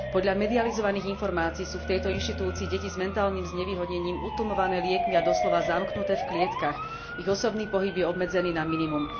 Podľa medializovaných informácií sú v tejto inštitúcii deti s mentálnym znevýhodnením utlmované liekmi a doslova zamknuté v klietkach, ich osobný pohyb je obmedzený na minimum.